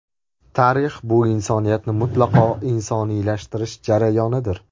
Tarix bu insoniyatni mutlaqo insoniylashtirish jarayonidir.